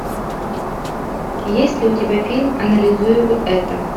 есть ли у тебя фильм анализируй это